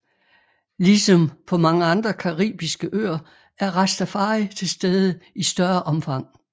Ligesom på mange andre caribiske øer er rastafari til stede i større omfang